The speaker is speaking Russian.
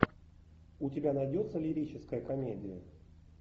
у тебя найдется лирическая комедия